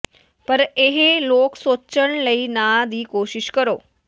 ਪਰ ਇਹ ਲੋਕ ਸੋਚਣ ਲਈ ਨਾ ਦੀ ਕੋਸ਼ਿਸ਼ ਕਰੋ